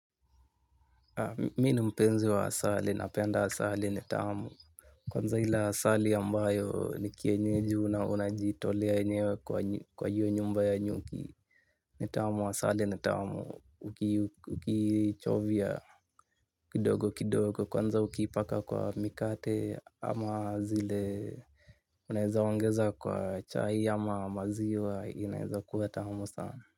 Mimi ni mpenzi wa asali, napenda asali ni tamu. Kwanza ile asali ambayo ni kienyeji unajitolea mwenyewe kwa hiyo nyumba ya nyuki. Ni tamu, asali ni tamu, ukiichovya kidogo kidogo. Kwanza ukiipaka kwa mikate ama zile unaweza kuongeza kwa chai ama maziwa inaweza kuwa tamu sana.